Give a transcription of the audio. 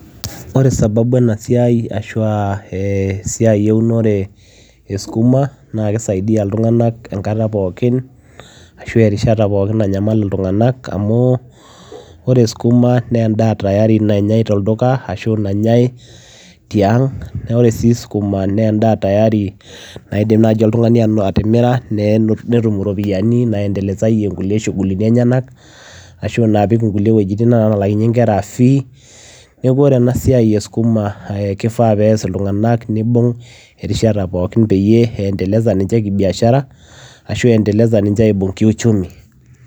Ore sababu ena siai ashu aa ee esiai eunore e sukuma naa kisaidia iltung'anak enkata pookin ashu aa erishata pookin nanyamal iltung'anak amu ore sukuma naa endaa tayari nanyai tolduka ashu aa enenyai tiang' , naa ore sii sukuma naa endaa tayari naidim naaji oltung'ani atimira netum iropiyiani naiendelesayie shughulini enyenak ashu elo apik nkulie wuejitin alaakinyie nkera fees neeku ore ena siai e sukuma ee kifaa pee ees iltung'anak peyie iendelesa ninche kibiashara ashu iendeleza ninche kiuchumi.